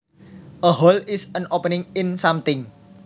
A hole is an opening in something